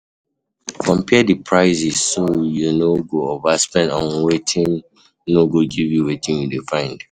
Compare di prices so you no go overspend on um wetin no go give you wetin you dey find